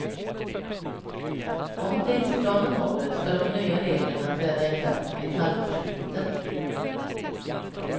Om tidsplanen håller ska de nya reglerna träda i kraft vid halvårsskiftet.